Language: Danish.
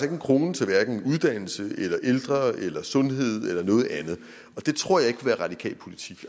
en krone til hverken uddannelse eller ældre eller sundhed eller noget andet og det tror jeg ikke vil være radikal politik